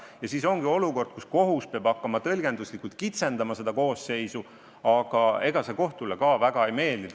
Ja nii ongi võimalik olukord, kus kohus peab hakkama seda koosseisu tõlgenduslikult kitsendama, aga ega see kohtule väga ei meeldi.